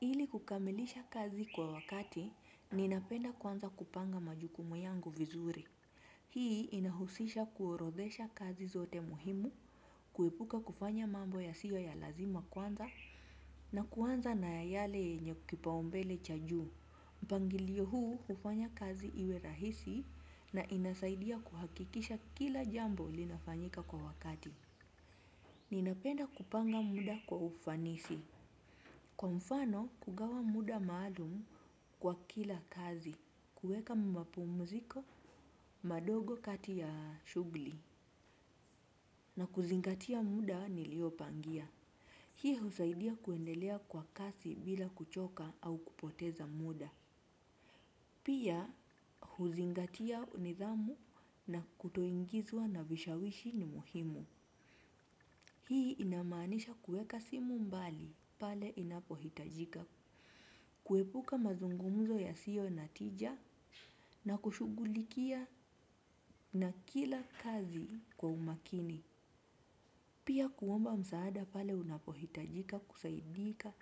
Ili kukamilisha kazi kwa wakati, ninapenda kwanza kupanga majukumu yangu vizuri. Hii inahusisha kuorodhesha kazi zote muhimu, kuepuka kufanya mambo ya sio ya lazima kwanza, na kuanza na yale yenye kipaumbele cha juu. Mpangilio huu hufanya kazi iwe rahisi na inasaidia kuhakikisha kila jambo linafanyika kwa wakati. Ninapenda kupanga muda kwa ufanisi. Kwa mfano kugawa muda maalum kwa kila kazi, kuweka mapumziko madogo kati ya shughuli na kuzingatia muda niliopangia. Hii husaidia kuendelea kwa kasi bila kuchoka au kupoteza muda. Pia huzingatia nidhamu na kutoingizwa na vishawishi muhimu. Hii inamaanisha kuweka simu mbali pale inapo hitajika. Kuepuka mazungumzo yasio natija na kushughulikia na kila kazi kwa umakini. Pia kuomba msaada pale unapohitajika kusaidika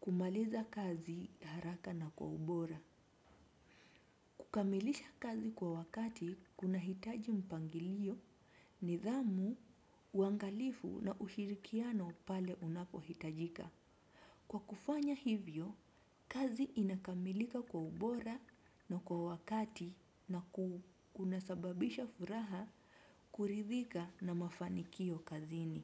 kumaliza kazi haraka na kwa ubora. Kukamilisha kazi kwa wakati kuna hitaji mpangilio nidhamu uangalifu na ushirikiano pale unapohitajika. Kwa kufanya hivyo, kazi inakamilika kwa ubora na kwa wakati na kuna sababisha furaha kuridhika na mafanikio kazini.